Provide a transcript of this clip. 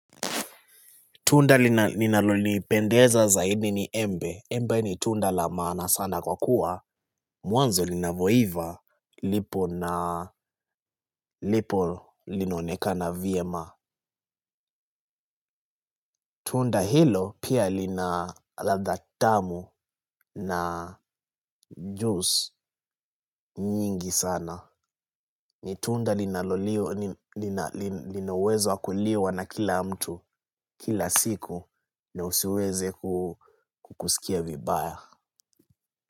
Tunda linalonipendeza zaidi ni embe. Embe ni tunda la maana sana kwa kuwa. Mwanzo linavyoiva lipo na lipo linaonekana vyema. Tunda hilo pia lina ladha tamu na juice nyingi sana. Ni tunda lina uwezo wa kuliwa na kila mtu kila siku na usiweze kusikia vibaya.